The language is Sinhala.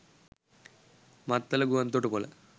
මත්තල ගුවන් තොටුපොල